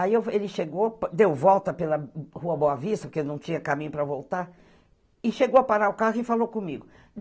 Aí ele chegou, deu volta pela Rua Boa Vista, porque não tinha caminho para voltar, e chegou a parar o carro e falou comigo.